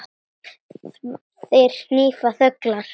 Þær hvína þöglar.